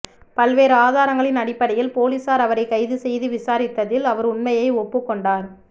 பல்வேறு ஆதாரங்களின் அடிப்படையில் போலீசார் அவரைக் கைது செய்து விசாரித்ததில் அவர் உண்மையை ஒப்புக் கொண்டார்